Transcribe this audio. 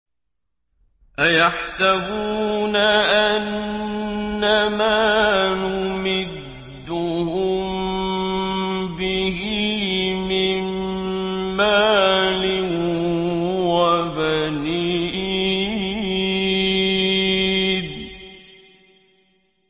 أَيَحْسَبُونَ أَنَّمَا نُمِدُّهُم بِهِ مِن مَّالٍ وَبَنِينَ